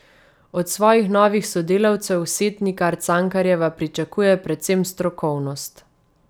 Od svojih novih sodelavcev Setnikar Cankarjeva pričakuje predvsem strokovnost.